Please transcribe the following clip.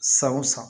San o san